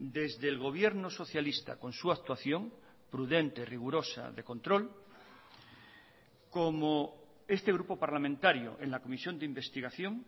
desde el gobierno socialista con su actuación prudente rigurosa de control como este grupo parlamentario en la comisión de investigación